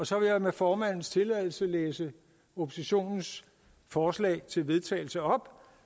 så vil jeg med formandens tilladelse læse oppositionens forslag til vedtagelse op